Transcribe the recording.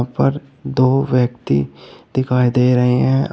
और दो व्यक्ति दिखाई दे रहे हैं।